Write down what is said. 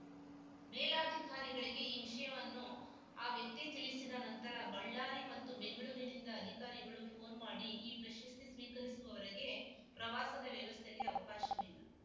ಮೇಲಧಿಕಾರಿಗಳಿಗೆ ಈ ವಿಷಯವನ್ನು ಆ ವ್ಯಕ್ತಿ ತಿಳಿಸಿದ ನಂತರ ಬಳ್ಳಾರಿ ಮತ್ತು ಬೆಂಗಳೂರಿನಿಂದ ಅಧಿಕಾರಿಗಳು ಫೋನ್ ಮಾಡಿ ಈ ಪ್ರಶಸ್ತಿ ಸ್ವೀಕರಿಸುವವರೆಗೆ ಪ್ರವಾಸದ ವ್ಯವಸ್ಥೆಗೆ ಅವಕಾಶವಿಲ್ಲ